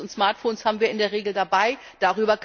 Klar, Handys und Smartphones haben wir in der Regel bei uns.